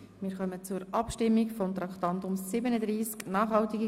Wir kommen zur Bereinigung des Traktandums 37.